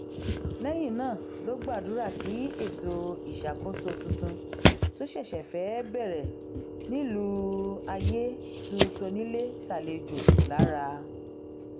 lẹyìn náà ló gbàdúrà kí ètò ìṣàkóso tuntun tó ṣẹṣẹ fẹẹ bẹrẹ nílùú ayé tu tónílé tàlejò lára